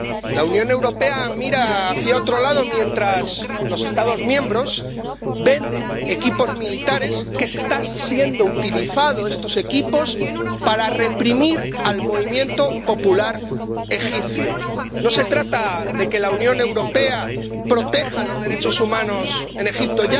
La Unión Europea mira hacia otro lado mientras los Estados miembros venden equipos militares que están siendo utilizados para reprimir el movimiento popular egipcio. No se trata de que la Unión Europea proteja los derechos humanos en Egipto.